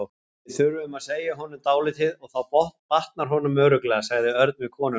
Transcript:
Við þurfum að segja honum dálítið og þá batnar honum örugglega, sagði Örn við konuna.